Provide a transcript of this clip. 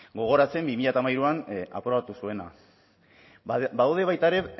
gogoratzen bi mila hamairuan aprobatu zuena badaude baita ere